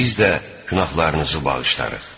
Biz də günahlarınızı bağışlarıq.